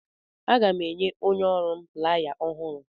Aga m enye onye ọrụ m playa ọhụrụ.